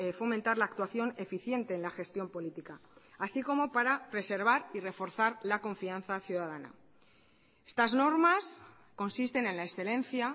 fomentar la actuación eficiente en la gestión política así como para preservar y reforzar la confianza ciudadana estas normas consisten en la excelencia